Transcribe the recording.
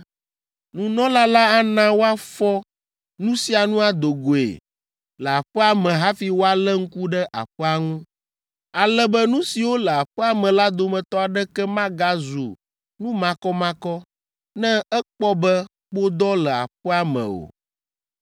Nunɔla la ana woafɔ nu sia nu ado goe le aƒea me hafi wòalé ŋku ɖe aƒea ŋu, ale be nu siwo le aƒea me la dometɔ aɖeke magazu nu makɔmakɔ ne ekpɔ be kpodɔ le aƒea me o.